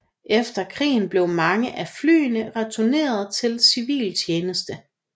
Efter krigen blev mange af flyene returneret til civil tjeneste